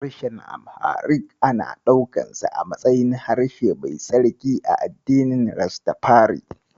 Harshen Amharic ana ɗaukansa a matsayin harshe mai tsarki a addinin Rastafari.